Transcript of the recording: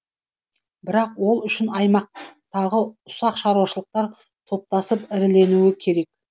бірақ ол үшін аймақтағы ұсақ шаруашылықтар топтасып іріленуі керек